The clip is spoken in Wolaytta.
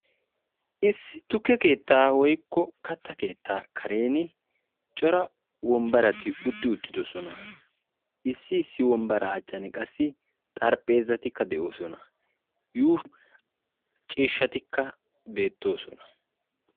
Issi tukke keettaa woykko katta keetta karen cora wombbarati utti uttidoosona. Issi issi wombbara achchan qassi xarapheezatikka de'oosona. Yuushshuwan ciishshatikka beettoosona.